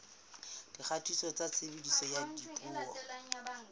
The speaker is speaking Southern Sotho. dikgatiso tsa tshebediso ya dipuo